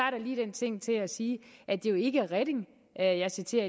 lige den ting ting at sige at det jo ikke er reding jeg jeg citerer